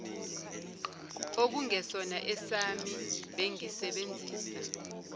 okungesona esami bengisebenzisa